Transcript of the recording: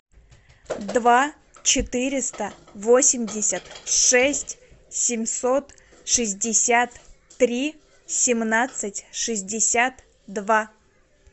два четыреста восемьдесят шесть семьсот шестьдесят три семнадцать шестьдесят два